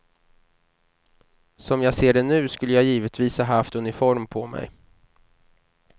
Som jag ser det nu, skulle jag givetvis ha haft uniform på mig.